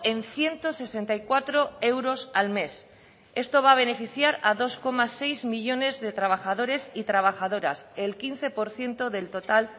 en ciento sesenta y cuatro euros al mes esto va a beneficiar a dos coma seis millónes de trabajadores y trabajadoras el quince por ciento del total